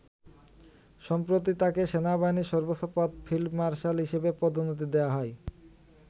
সম্প্রতি তাকে সেনাবাহিনীর সর্বোচ্চ পদ ফিল্ড মার্শাল হিসেবে পদোন্নতি দেয়া হয়।